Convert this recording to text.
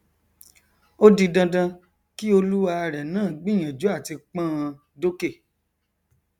ó di dandan kí olúwarẹ náà gbìyànjú àti pọnọn dókè